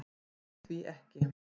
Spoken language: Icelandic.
Trúði því ekki.